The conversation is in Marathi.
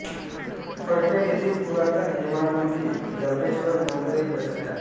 फलटण येथील पुरातन हेमाडपंथी जबरेश्वर मंदिरही प्रसिद्ध आहे